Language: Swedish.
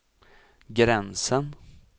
gränsen